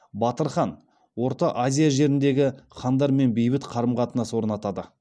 батыр хан орта азия жеріндегі хандармен бейбіт қарым қатынас орнатады